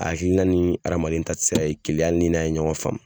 A hakilina ni hadamaden ta tɛ se ka kɛ kelen ye hali n'i n'a ye ɲɔgɔn faamu.